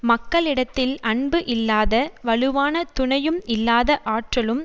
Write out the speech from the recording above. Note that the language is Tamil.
மக்களிடத்தில் அன்பு இல்லாத வலுவான துணையும் இல்லாத ஆற்றலும்